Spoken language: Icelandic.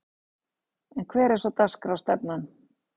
En hver er svo dagskrárstefnan?